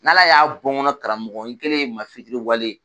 N'Ala y'a bɔ n karamɔgɔ n kɛlen ye i ma fitiriwale ye